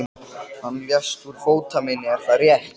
Hann lést úr fótarmeini, það er rétt.